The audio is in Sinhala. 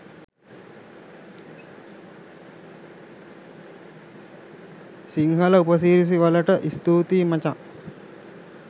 සිංහල උපසිරැසි වලට ස්තූතියි මචන්!